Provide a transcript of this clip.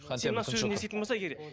хантемір тыныш отыр